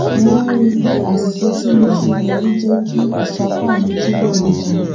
mo wá rí i pé àṣìṣe tí mo ṣe yẹn ló jé kí ìsapá mi túbò nítumò